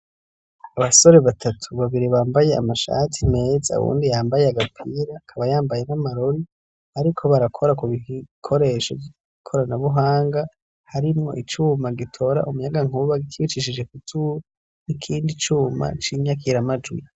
Abasore batatu babiri bambaye amashati meza awundi yambaye agapira akaba yambaye n'amarori bariko barakora ku bikoresho vy'ikoranabuhanga harimwo icuma gitora umuyagankuba kiwucishije kuzuba n'ikindi cuma c'inyakira majwi